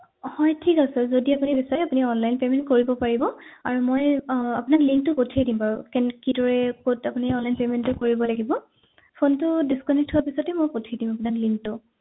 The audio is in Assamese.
হয় ঠিক আছে যদি আপুনি বিছাৰে আপুনি online payment কৰিব পাৰিব আৰু মই আহ আপোনাক link টো পঠিয়াই দিম বাৰু কেনে কিদৰে কত আপুনি online payment টো কৰিব লাগিব phone টো disconnect হোৱাৰ পিছতে মই পঠিয়াই দিম মানে link টো